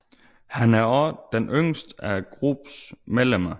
Han er også den yngste af gruppens medlemmer